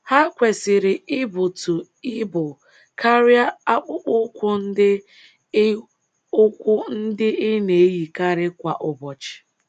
Ha kwesịrị ịbụtụ ibụ karịa akpụkpọ ụkwụ ndị ị ụkwụ ndị ị na - eyikarị kwa ụbọchị.